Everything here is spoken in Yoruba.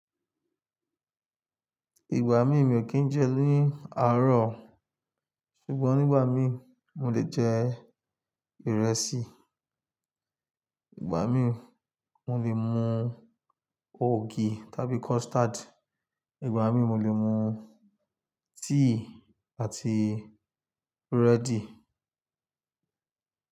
Ìgbà mí mi ò kí jẹ́ ní àárọ̀, ṣùgbọ́n nígbà mí mo lè jẹ ìrẹsì, ìgbà mí mo lè mu ògì tàbí custard, ìgbà mí mo lè mu tíì àti búrẹ́dì.